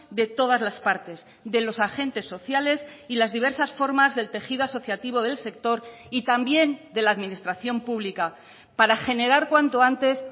de todas las partes de los agentes sociales y las diversas formas del tejido asociativo del sector y también de la administración pública para generar cuanto antes